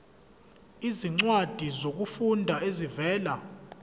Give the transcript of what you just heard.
izincwadi zokufunda ezivela